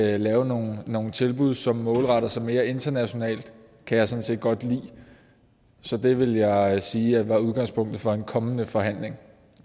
at lave nogle nogle tilbud som målretter sig mere internationalt kan jeg sådan set godt lide så det vil jeg sige er udgangspunktet for en kommende forhandling